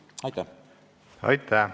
Aitäh!